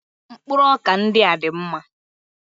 Mkpụrụ ọkà ndị a dị mma